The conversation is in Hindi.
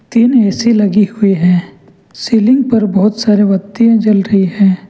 तीन ऐ सी लगी हुई है सीलिंग पर बहुत सारे बत्तियां जल रही है।